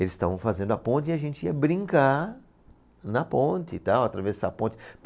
Eles estavam fazendo a ponte e a gente ia brincar na ponte e tal, atravessar a ponte.